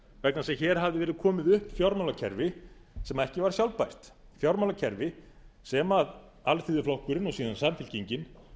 vegna þess að hér hafði verið komið upp fjármálakerfi sem ekki var sjálfbært fjármálakerfi sem alþýðuflokkurinn og síðan samfylkingin